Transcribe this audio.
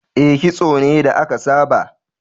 E, kitso ne da aka saba.